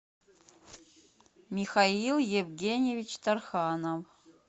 михаил евгеньевич тарханов